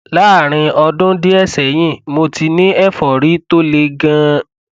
láàárín ọdún díẹ sẹyìn mo ti ní ẹfọrí tó le ganan